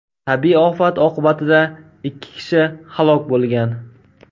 Tabiiy ofat oqibatida ikki kishi halok bo‘lgan.